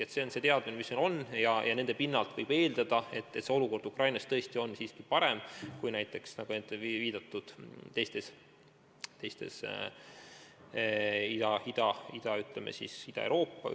Aga selle teadmise pinnalt, mis meil on, võib eeldada, et olukord Ukrainas tõesti on siiski parem kui teistes Ida-Euroopa riikides.